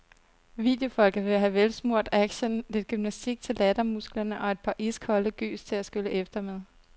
Videofolket vil have velsmurt action, lidt gymnastik til lattermusklerne og et par iskolde gys til at skylle efter med.